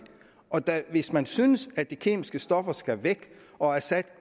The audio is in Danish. hvis man synes at de kemiske stoffer skal væk og at assad